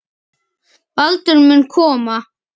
Baldur mun koma.